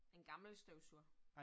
En gammel støvsuger